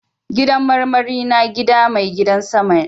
Gidan marmari na gida mai gidan sama.